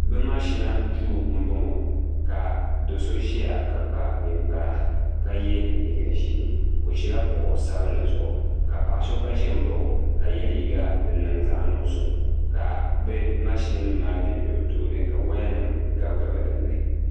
bɛ makshina duu m-bɔŋɔ ka do'so ʒeya ka kpa ninkpara ka ye liiga ʒee o ʒila kuɣ' sabinli zuɣu ka paɣa so gba ʒi n-baɣi o ka ye liiga din niŋ zaɣ' nuɣisɔ ka bɛ makshinima maa be be bɛ tooni ka wayanima gabigabi din ni.